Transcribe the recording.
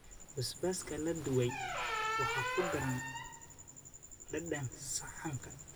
Basbaaska la dubay waxay ku daraan dhadhan saxanka.